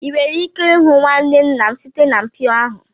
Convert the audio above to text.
ị nwere ike ịhụ nwanne nna m site na mpio ahụ